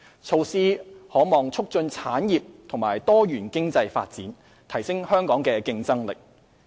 措施可望促進產業和多元經濟發展，提升香港的競爭力。